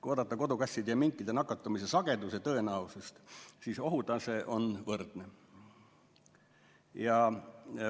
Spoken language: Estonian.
Kui vaadata kodukasside ja minkide nakatumise sageduse tõenäosust, siis ohutase on võrdne.